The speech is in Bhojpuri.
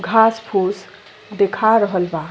घास-फूस देखा रहल बा।